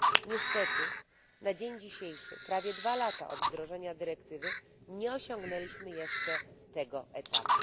Niestety na dzień dzisiejszy, prawie dwa lata od wdrożenia dyrektywy, nie osiągnęliśmy jeszcze tego etapu.